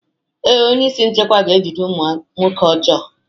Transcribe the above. Ee, onye isi nchekwa ga-ejide ụmụ nwoke ọjọọ.